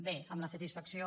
bé amb la satisfacció